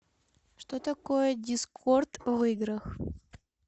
что такое дискорд в играх